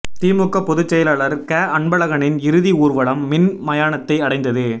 திமுக பொதுச் செயலாளர் க அன்பழகனின் இறுதி ஊர்வலம் மின் மயானத்தை அடைந்தது